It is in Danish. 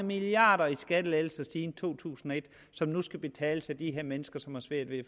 milliarder i skattelettelser siden to tusind og et som nu skal betales af de her mennesker som har svært ved at